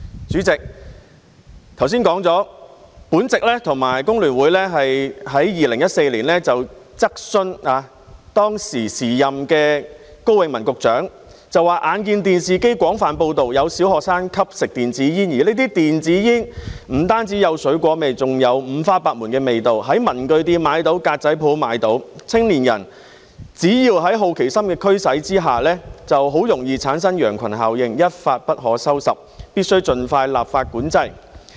主席，我剛才提到，我和工聯會曾在2014年質詢當時的高永文局長，指出我們眼見電視廣泛報道有小學生吸食電子煙，而這些電子煙不單有水果味道，更有五花八門的味道，在文具店和格仔鋪也可以買到，青年人只要在好奇心的驅使下，很容易便會產生羊群效應，一發不可收拾，必須盡快立法管制。